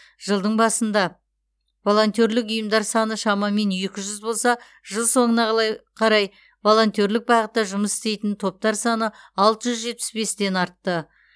жылдың басында волонтерлік ұйымдар саны шамамен екі жүз болса жыл соңына қалай қарай волонтерлік бағытта жұмыс істейтін топтар саны алты жүз жетпіс бестен артты